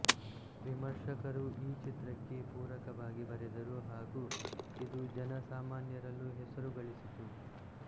ವಿಮರ್ಶಕರು ಈ ಚಿತ್ರಕ್ಕೆ ಪೂರಕವಾಗಿ ಬರೆದರು ಹಾಗು ಇದು ಜನ ಸಾಮನ್ಯರಲ್ಲೂ ಹೆಸರು ಗಳಿಸಿತು